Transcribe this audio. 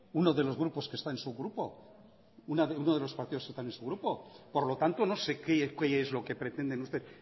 uno de los grupos que está en su grupo uno de los partidos que están en su grupo por lo tanto no sé qué es lo que pretenden usted